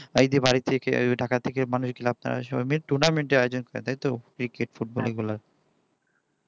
এই যে cricket ঢাকা থেকে মানুষ গেলে আপনার tournament এর আয়োজন করে তাইতো cricket football এগুলা